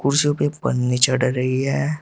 कुर्सियों पे एक पन्नी चढ़ रही है।